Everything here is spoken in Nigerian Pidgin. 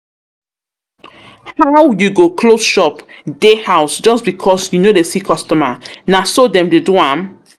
How you go close shop dey house just because you no dey see customer, na so dem dey do am?